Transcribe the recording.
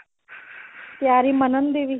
ਤਿਆਰੀ ਮਨਨ ਦੀ ਵੀ